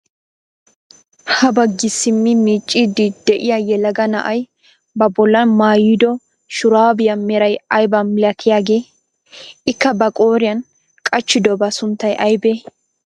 Ha baggi simmi miicciidi de'iyaa yelaga na'ay ba bollan maayido shuraabiyaa meray aybaa milatiyaageee? ikka ba qooriyaan qachchidobaa sunttay aybee?